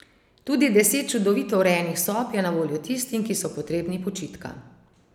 Tudi deset čudovito urejenih sob je na voljo tistim, ki so potrebni počitka.